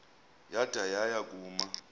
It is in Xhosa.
yada yaya kuma